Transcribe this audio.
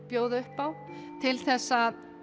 bjóða upp á til þess að